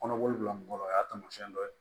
Kɔnɔboli bila n kɔrɔ o y'a taamasiyɛn dɔ ye